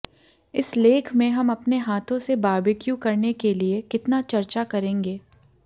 इस लेख में हम अपने हाथों से बारबेक्यू करने के लिए कितना चर्चा करेंगे